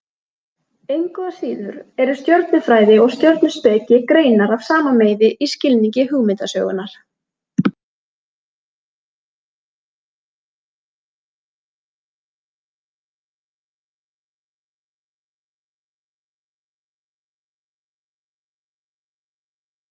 Slufrudalsá, Naustalækur, Heimara-Illagil, Kúalækur